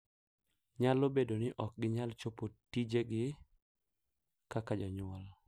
Nyalo bedo ni ok ginyal chopo tijegi kaka jonyuol,